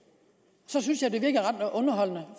så synes jeg